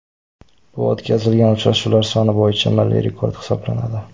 Bu o‘tkazilgan uchrashuvlar soni bo‘yicha milliy rekord hisoblanadi.